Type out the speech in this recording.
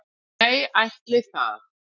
Nei ætli það.